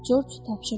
Corc tapşırdı.